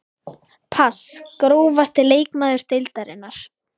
pass Grófasti leikmaður deildarinnar?